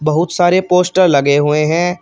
बहुत सारे पोस्टर लगे हुए हैं।